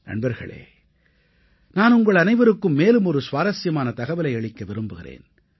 நண்பர்களே நான் உங்களனைவருக்கும் மேலும் ஒரு சுவாரசியமான தகவலை அளிக்க விரும்புகிறேன்